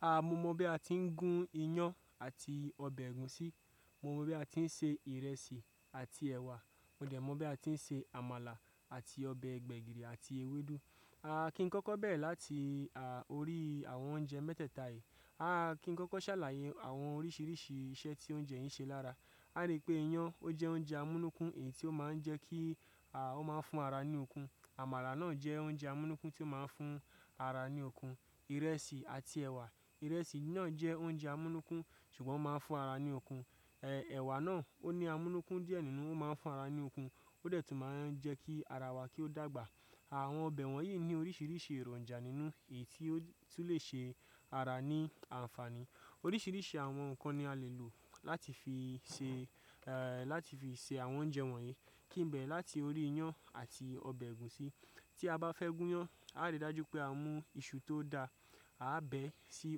A mo mọ bi a ti n gun iyán àti ọbẹ̀ ègúsí. Mo mọ bi a ti n se ìrẹsì àti ẹwà. Mo dẹ̀ mọ bi a ti n se àmàlà àti ọbẹ̀ gbẹ̀gìrì àti ewédú. A ki n kọ́kọ́ bẹ̀rẹ̀ láti à orí àwọn oúnjẹ mẹ́tẹ́ẹ̀ta yìí. A ki n kọ́kọ́ sàlàyé àwọn oríṣiríṣi iṣẹ́ tí oúnjẹ yìí n ṣe lára. A ríi pé iyán ó jẹ oúnjẹ amúnúkún èyí tí ó ma n jẹ́ kí à ó máa n fún ara ní okun. Àmàlà náà jẹ oúnjẹ amúnúkún tí ó máa n fún ara ní okun. Ìrẹsì àti ẹ̀wà, ìrẹsì náà jẹ oúnjẹ amúnúkún ṣùgbọ́n ó máa n fún ara ní okun. E, ẹ̀wà náà ó ní amúnúkún díẹ̀ nínú ó máa n fún ara ní okun ó dẹ̀ tún máa n jẹ́ kí ara wa kí ó dàgbà. Àwọn ọbẹ̀ wọ̀nyí ní oríṣiríṣi èròǹjà nínú èyí tí ó tún lè ṣe ara ní àǹfààní. Oríṣiríṣi àwọn nǹkan ni a le lò láti fi ṣe, e, láti fi ṣe àwọn oúnjẹ wọ̀nyí. Kí n bẹ̀rẹ̀ láti orí iyán àti ọbẹ̀ ẹ̀gúsí. Tí a bá fẹ́ gún iyán, a rii dájú pé a mú iṣu tó da, a á bẹ́ sí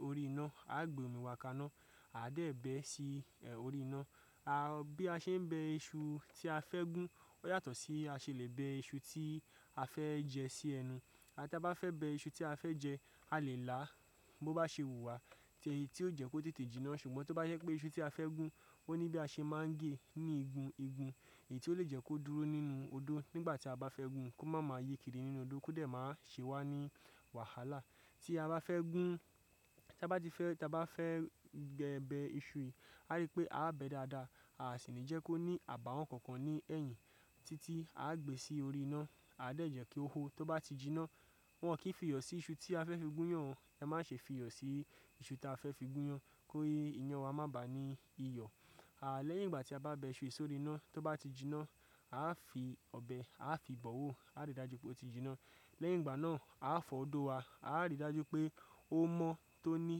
orí iná, a á gbé omi wá ká iná, a á dẹ̀ bẹẹ́ sí orí iná. A, bí a ṣe n bẹ iṣu tí a fẹ́ gún ó yàtọ̀ sí bí a ṣe le bẹ iṣu tí a fẹ́ jẹ sí ẹnu. À ti a bá fẹ́ bẹ iṣu tí a fẹ́ jẹ, a lè là á bó bá ṣe wù wá, tí èyí tí ó jẹ kó tètè jiná ṣùgbọ́n tó bá yẹ pé iṣu tí a fẹ́ gún ó ní bí a ṣe máa n gée ní igun igun èyí tí ó lè jẹ́ kó dúró nínú odó nígbà tí a bá fẹ́ gún- un kó má máa yíkiri nínú odó kó dẹ̀ máa ṣe wá ní wàhálà. Tí a bá fẹ́ gún, tí a bá ti fẹ́, tí a bá fẹ́ gbẹ bẹ iṣu yìí, a ríi pé a á bẹ dáadáa, a sì ní jẹ́ kó ní àbàwọ́n kankan ní ẹ̀yìn títí a gbe sí orí iná, a dẹ̀ jẹ́ kí ó hó. Tó bá ti jiná, wọn kì í fi iyọ̀ sí iṣu tí a fẹ́ fi gún iyán. E má ṣe fi iyọ̀ sí iṣu tí a fẹ́ fi gún iyán kó ìyàn wa má bà á ní iyọ̀. A lẹ́yìn ìgbà tí a bá bẹ iṣu yìí sí orí iná tó bá ti jiná, a á fi ọbẹ̀, a á fi bọ̀ọ́ wó, a á rí i dájú pé ó ti jiná. Lẹ́yìn ìgbà náà a á fọ́ odó wa, a á rí i dájú pé ó mọ́ tóní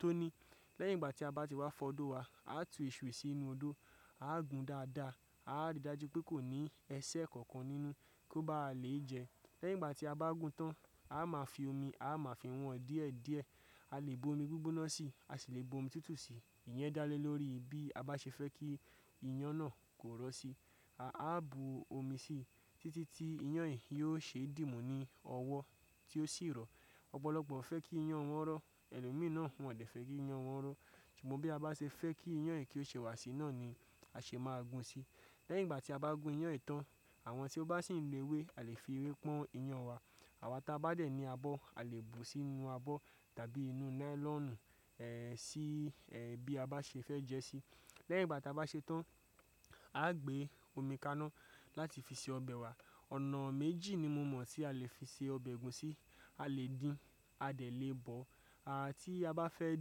tóní. Lẹ́yìn ìgbà tí a bá ti wá fọ́ odó wa, a á tu iṣu yìí sínú odó, a á gún dáadáa, a á rí i dájú pé kò ní ẹsẹ̀ kankan nínú kó bá lèé jẹ. Lẹ́yìn ìgbà tí a bá gún tán, a máa fi omi, a máa fi wọ́n díẹ̀díẹ̀. A lè bu omi gbígbóná sí i, a sì lè bu omi tútù sí i. Ìyẹn dá lé lórí bí a bá ṣe fẹ́ kí iyán náà kó rọ́ sí i. A á bu omi sí i títí tí iyán yìí yóò ṣe dìmú ní ọwọ́ tí ó sì rọ̀. Ọ̀pọ̀lọpọ̀ fẹ́ kí iyán wọn rọ̀, ẹlò mìíràn wọn ò dẹ̀ fẹ́ kí iyán wọn rọ̀. Ṣùgbọ́n bí a bá ṣe fẹ́ kí iyán yìí kí ó ṣe wà sí iná ni a ṣe máa gún un sí. Lẹ́yìn ìgbà tí a bá gún iyán yìí tán, àwọn tí ó bá sì nló ewé a lè fi ewé pọ́n iyán wa. Àwa ta bá dẹ̀ ní abọ́ a lè bùú sí inú abọ́ tàbí inú nailọ́ọ̀nù, e, sí, e, bí a bá ṣe fẹ́ jẹ sí i. Lẹ́yìn ìgbà tí a bá ṣe tán, a á gbé omi kaná láti fi ṣe ọbẹ̀ wa. Ọ̀nà méjì ni mo mọ̀ tí a lè fi ṣe ọbẹ̀ ègúsí. A lè dín, a lè bọ̀ọ́. A, tí a bá fẹ́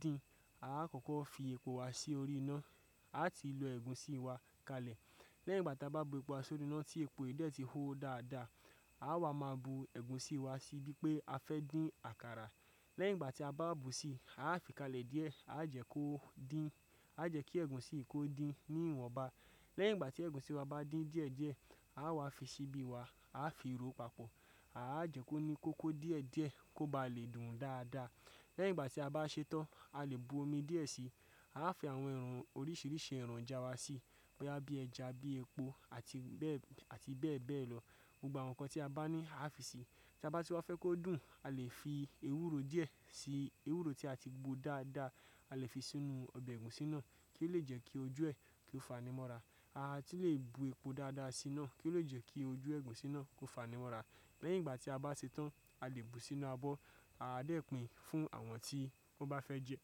dín, a á kọ́kọ́ fi epo wa sí orí iná. A á ti lọ ẹ̀gúsí wa kalẹ̀. Lẹ́yìn ìgbà tí a bá bu epo wa sórì iná tí epo yìí dẹ̀ ti hó dáadáa, ã wa máa bu ẹ̀gúsí wa sí bí pé a fẹ́ dín àkàrà. Lẹ́yìn ìgbà tí a bá bù sí i, a á fi kalẹ̀ díẹ̀, a á jẹ́ kó dín, a jẹ́ kí ẹ̀gúsí yì kó dín ní ìwọ̀nba. Lẹ́yìn ìgbà tí ẹ̀gúsí wa bá dín díẹ̀díẹ̀, àwa fi ṣíbí wa, a á fi ròó papọ̀. A á jẹ́ kó ní kókó díẹ̀díẹ̀ kó bá lè dùn dáadáa. Lẹ́yìn ìgbà tí a bá ṣe tán, a lè bu omi díẹ̀ sí i. A á fi àwọn ẹran oríṣiríṣi èròǹjà wa sí i, bóyá bí ẹja, bí epo àti bẹ́ẹ̀, àti bẹ́ẹ̀ bẹ́ẹ̀ lọ. Gbogbo àwọn nǹkan tí a bá ní a á fi sí i. Tí a bá ti wá fẹ́ kó dùn, a lè fi ewúro díẹ̀ sí i. Ewúro tí a ti gbó dáadáa a lè fi sínú ọbẹ̀ ẹ̀gúsí náà kí ó lè jẹ́ kí ojú ẹ̀ kí ó fani mọ́ra. A sì lè bu epo dáadáa sí i náà kí ó lè jẹ́ kí ojú ẹ̀gúsí náà kó fani mọ́ra. Lẹ́yìn ìgbà tí a bá ṣe tán, a lè bu sínú abọ́. A dẹ̀ pìn fún àwọn tí wọ́n bá fẹ́ jẹ.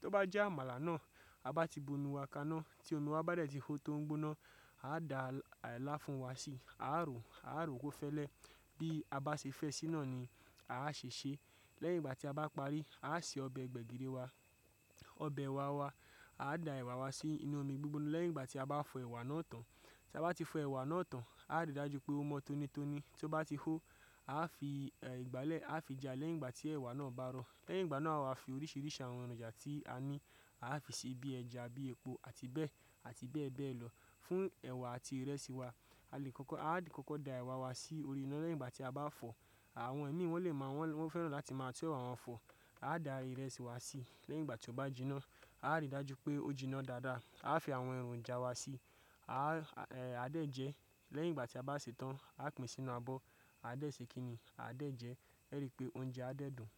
Tó bá jẹ́ àmàlà náà, a bá ti bu inú wa ká iná tí omí wa bá dẹ̀ ti hó tó ń gbóná, a dá làáfún wa sí i. A á ro, a á ro kó fẹ́lẹ́. Bí a bá ṣe fẹ́ sí náà ni a á ṣe ṣe. Lẹ́yìn ìgbà tí a bá parí, a á se ọbẹ̀ gbẹ̀gìrì wa, ọbẹ̀ ẹ̀wà wa. A dá ẹ̀wà wa sí inú omi gbígbóná lẹ́yìn ìgbà tí a bá fọ ẹ̀wà náà tán. Tí a bá ti fọ ẹ̀wà náà tán, a á rí i dájú pé ó mọ́ tónítóní. Tó bá ti hó, a á fi ìgbálẹ̀ a á fi ja lẹ́yìn ìgbà tí ẹ̀wà náà bá rọ̀. Lẹ́yìn ìgbà náà àwa fi oríṣiríṣi àwọn èròǹjà tí a ní a á fi sí i bí ẹja, bí epo àti bẹ́ẹ̀, àti bẹ́ẹ̀ bẹ́ẹ̀ lọ fún ẹ̀wà àti ìrẹsì wa. A lè kọ́kọ́, a á kọ́kọ́ da ẹ̀wà wa sí orí iná lẹ́yìn ìgbà tí a bá fọ̀ọ́. Àwọn òmiì wọ́n lè mọ̀ wọ́n fẹ́ràn láti máa tún ẹ̀wà wọn fọ̀. A dá ìrẹsì wa sí i. Lẹ́yìn ìgbà tí ó bá jiná, a á rí i dájú pé ó jiná dáadáa. A á fi àwọn èròǹjà wa sí i. A á, e, a dẹ̀ jẹ. Lẹ́yìn ìgbà tí a bá ṣe tán, a pin sínú abọ́. A dẹ̀ ṣe kínní, a dẹ̀ jẹ. Ẹ rí i pé oúnjẹ á dẹ̀ dùn.